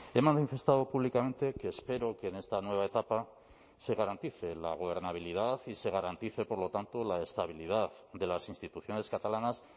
he manifestado públicamente que espero que en esta nueva etapa se garantice la gobernabilidad y se garantice por lo tanto la estabilidad de las instituciones catalanas